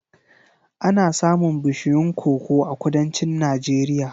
Ana samun bishiyun koko a Kudancin Najeriya.